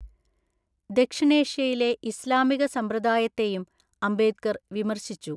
ദക്ഷിണേഷ്യയിലെ ഇസ്ലാമിക സമ്പ്രദായത്തെയും അംബേദ്കർ വിമർശിച്ചു.